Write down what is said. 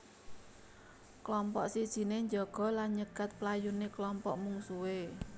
Klompok sijiné njaga lan nyegat playuné klompok mungsuhé